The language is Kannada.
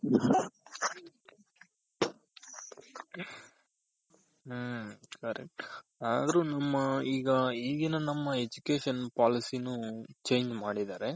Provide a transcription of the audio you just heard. ಹ್ಮ್ correct ಆದ್ರು ನಮ್ಮಈಗ ಈಗಿನ ನಮ್ಮ Education policy ನು change ಮಾಡಿದಾರೆ.